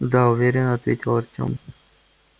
да уверенно ответил артем